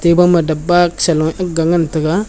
eba ma dapbak selog aag ngan taiga.